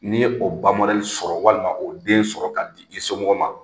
N'i y'o ba sɔrɔ walima o den sɔrɔ k'a d'i somɔgɔ ma.